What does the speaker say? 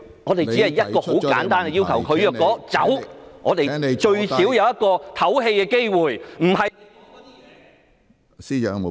我們只有一個很簡單的要求，如果她離開，我們最少會有一個喘息的機會，不是......